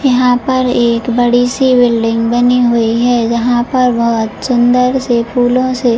यहाँ पर एक बड़ी सी बिल्डिंग बनी हुई है यहाँ पर बहोत सुंदर से फूलों से --